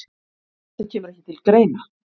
Þetta kemur ekki til greina